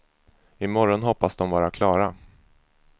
I morgon hoppas de vara klara.